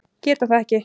Geta það ekki.